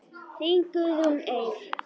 Þín Guðrún Eir.